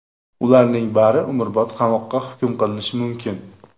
Ularning bari umrbod qamoqqa hukm qilinishi mumkin.